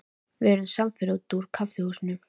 Við urðum samferða út úr kaffihúsinu.